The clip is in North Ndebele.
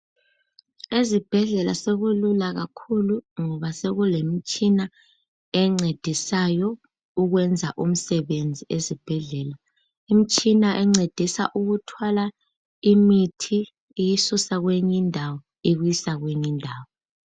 Ezibhedlela sokulula kakhulu ngoba sokulemtshina encedisayo ukwenza umsebenzi esibhedlela. Imtshina encedisa ukuthwala imithi iyisusa kwenye indawo ibisa kwenye indawo.